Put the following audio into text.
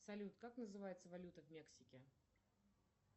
салют как называется валюта в мексике